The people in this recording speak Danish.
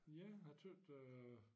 Ja jeg tøt øh